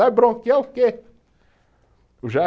Vai bronquear o quê? Já